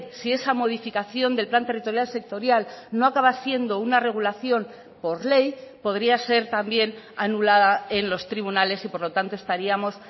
si esa modificación del plan territorial sectorial no acaba siendo una regulación por ley podría ser también anulada en los tribunales y por lo tanto estaríamos